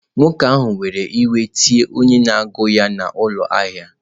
Nwoke ahụ were iwe were tie onye na-agụ ya n'ụlọ ahịa.